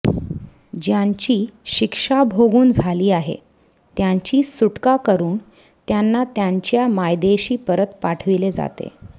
ज्यांची शिक्षा भोगून झाली आहे त्यांची सुटका करून त्यांना त्यांच्या मायदेशी परत पाठविले जाते